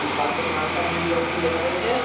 এই পার্ক -এর নামটা নীল রং দিয়ে লেখা রয়েছে।